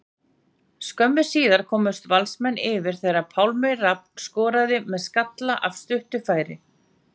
Skömmu síðar komust Valsmenn yfir þegar að Pálmi Rafn skoraði með skalla af stuttu færi.